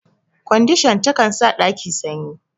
Kwandishan ta kan sa ɗaki sanyi.